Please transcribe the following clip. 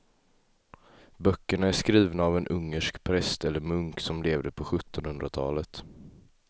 Böckerna är skrivna av en ungersk präst eller munk som levde på sjuttonhundratalet.